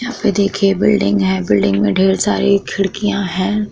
यहाँ पे देखिये बिल्डिंग है। बिल्डिंग में ढेर सारे खिड़कियाँ है।